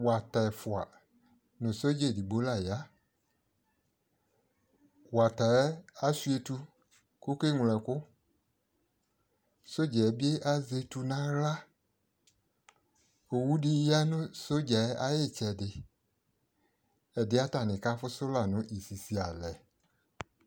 wata ɛƒʋa nʋ soldier ɛdigbɔ la ya, wataɛ asʋa ɛtʋ kʋ ɔkɛ mlɔ ɛkʋ, soldier bi azɛ ɛtʋ nʋ ala, ɔwʋ di yanʋ soldier ayi itsɛdi, ɛdiɛ atani kaƒʋsʋ lanʋ isisi alɛ